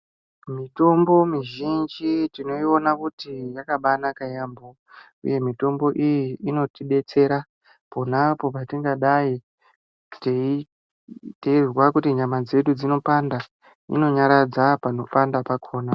Mitombo mizhinji tinoiona kuti yakabaa naka yaambo uye mitombo iyi inotidetsera ponapo patingadai teyizwa kuti nyama dzedu dzinopanda inonyaradza pano panda pakona.